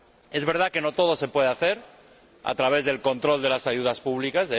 Es verdad que no todo se puede hacer a través del control de las ayudas públicas.